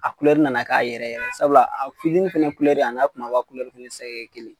A kulɛri nana k'a yɛrɛ ye sabula a fitinin fana kulɛri a n'a kunbaba kulɛri tɛ kelen